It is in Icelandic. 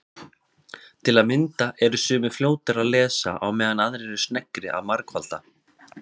Til að mynda eru sumir fljótari að lesa á meðan aðrir eru sneggri að margfalda.